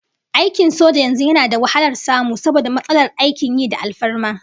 Aikin soja yanzu yana da wahalar samu saboda matsalar aikin yi da alfarma